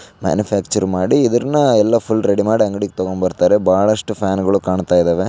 Manufacture ಮಾಡಿ ಇದನ್ನ ಎಲ್ಲಾ ಫುಲ್‌ ರೆಡಿ ಮಾಡಿ ಎಲ್ಲಾ ಅಂಗಡಿಗೆ ತೆಗೆದುಕೊಂಡು ಬರ್ತಾರೆ-- ಬಹಳಷ್ಟು ಫ್ಯಾನ್‌ಗಳು ಕಾಣ್ತಾ ಇದ್ದಾವೆ.